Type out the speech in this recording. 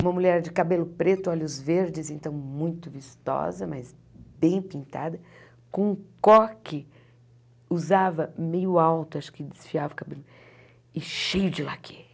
Uma mulher de cabelo preto, olhos verdes, então muito vistosa, mas bem pintada, com um coque, usava meio alto, acho que desfiava o cabelo, e cheio de laquê.